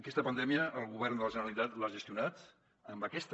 aquesta pandèmia el govern de la generalitat l’ha gestionat amb aquesta